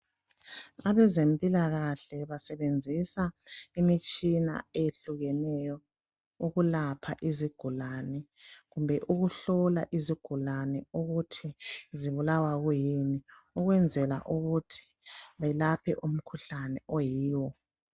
Abezempilakahle basebenzisa imitshina eyehlukeneyo ukulapha izigulane kumbe ukuhlola izigulane ukuthi zibulawa kuyini ukwenzela ukuthi belaphe umkhuhlane oyiwo.